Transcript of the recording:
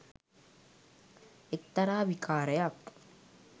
එක්තරා විකාරයක්.